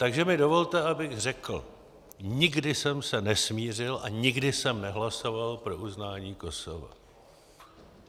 Takže mi dovolte, abych řekl: Nikdy jsem se nesmířil a nikdy jsem nehlasoval pro uznání Kosova.